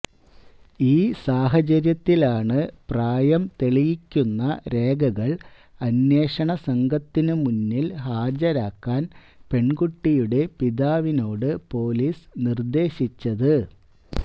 ഈ സാഹചര്യത്തിലാണ് പ്രായം തെളിയിക്കുന്ന രേഖകള് അന്വേഷണസംഘത്തിന് മുന്നില് ഹാജരാക്കാന് പെണ്കുട്ടിയുടെ പിതാവിനോട് പൊലീസ് നിര്ദേശിച്ചത്